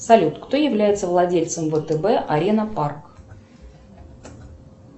салют кто является владельцем втб арена парк